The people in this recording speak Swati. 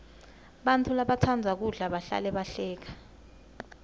bantfu labatsandza kudla bahlale bahleka